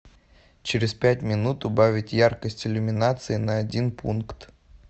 через пять минут убавить яркость иллюминации на один пункт